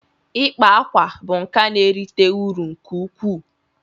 ikpa akwa bụ nka na-erite uru nke ukwuu